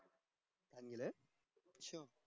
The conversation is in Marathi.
congres छ